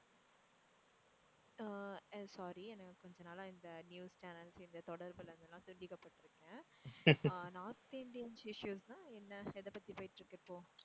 எர் sorry எனக்கு கொஞ்ச நாளா இந்த நியூஸ் channels இந்த தொடர்புல இருந்துல்லாம் துண்டிக்க பட்டுருக்கேன் north Indians issues னா என்ன? எதை பத்தி போயிட்டு இருக்கு இப்போ?